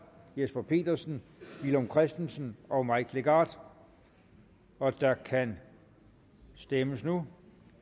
jesper petersen villum christensen og mike legarth og der kan stemmes nu